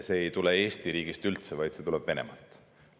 See ei tule üldse Eesti riigist, vaid see tuleb Venemaalt.